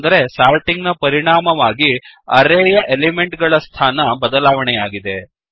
ಅಂದರೆ ಸಾರ್ಟಿಂಗ್ ನ ಪರಿಣಾಮವಾಗಿ ಅರೇಯ ಎಲಿಮೆಂಟ್ ಗಳ ಸ್ಥಾನ ಬದಲಾವಣೆಯಾಗಿದೆ